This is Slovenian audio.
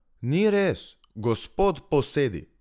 Ni res, gospod Posedi!